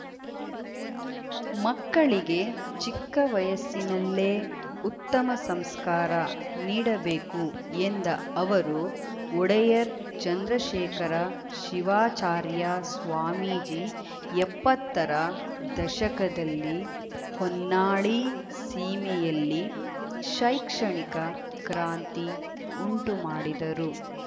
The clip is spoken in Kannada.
ಮಕ್ಕಳಿಗೆ ಚಿಕ್ಕ ವಯಸ್ಸಿನಲ್ಲೇ ಉತ್ತಮ ಸಂಸ್ಕಾರ ನೀಡಬೇಕು ಎಂದ ಅವರು ಒಡೆಯರ್‌ ಚಂದ್ರಶೇಖರ ಶಿವಾಚಾರ್ಯ ಸ್ವಾಮೀಜಿ ಎಪ್ಪತ್ತರ ದಶಕದಲ್ಲಿ ಹೊನ್ನಾಳಿ ಸೀಮೆಯಲ್ಲಿ ಶೈಕ್ಷಣಿಕ ಕ್ರಾಂತಿ ಉಂಟುಮಾಡಿದರು